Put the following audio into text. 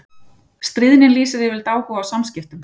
Stríðnin lýsir yfirleitt áhuga á samskiptum.